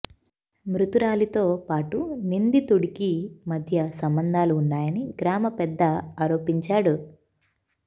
మృతురాలితో పాటు నిందితుడికి మధ్య సంబంధాలు ఉన్నాయని గ్రామ పెద్ద ఆరోపించాడు